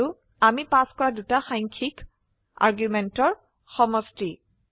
আৰু আমি পাস কৰা দুটা সাংখ্যিক আৰ্গুমেন্টেৰ সমষ্টি